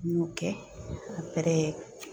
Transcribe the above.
N y'o kɛ